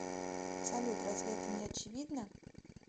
салют разве это не очевидно